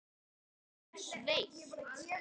Hún er sveitt.